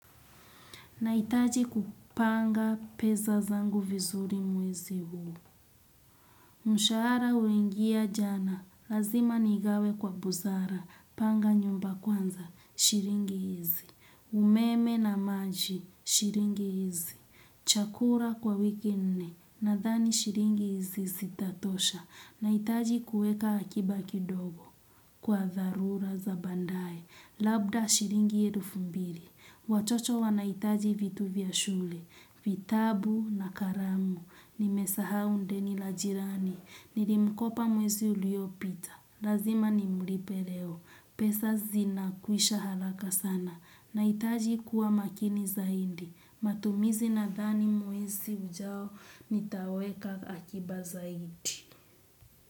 Nahitaji kupanga pesa zangu vizuri mwezi huu. Mshahara uliingia jana. Lazima nigawe kwa busara. Panga nyumba kwanza. Shilingi hizi. Umeme na maji. Shilingi hizi. Chakula kwa wiki nne. Nadhani shilingi hizi zitatosha. Nahitaji kuweka akiba kidogo. Kwa dharura za baandae. Labda shilingi elfu mbili. Watoto wanahitaji vitu vya shule, vitabu na karamu, nimesahau ndeni la jirani, nilimkopa mwezi uliopita, lazima nimlipe leo. Pesa zinakwisha haraka sana, nahitaji kuwa makini zaidi, matumizi nadhani mwezi ujao, nitaweka akiba zaidi.